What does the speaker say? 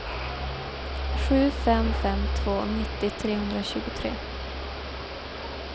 sju fem fem två nittio trehundratjugotre